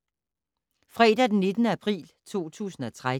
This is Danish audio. Fredag d. 19. april 2013